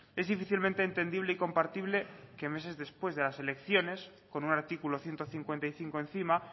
es difícilmente entendible y compartible que meses después de las elecciones con un artículo ciento cincuenta y cinco encima